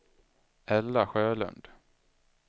Ella Sjölund